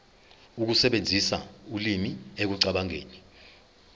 ukusebenzisa ulimi ekucabangeni